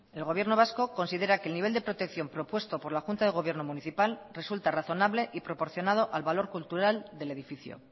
el gobierno vasco considera que el nivel de protección propuesto por la junta de gobierno municipal resulta razonable y proporcionado al valor cultural del edificio